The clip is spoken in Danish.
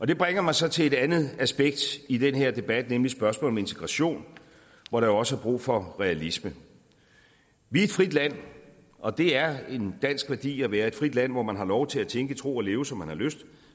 det bringer mig så til et andet aspekt i den her debat nemlig spørgsmålet om integration hvor der jo også er brug for realisme vi er et frit land og det er en dansk værdi at være et frit land hvor man har lov til at tænke tro og leve som man har lyst